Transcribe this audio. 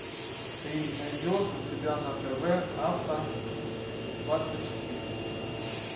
ты найдешь у себя на тв авто двадцать четыре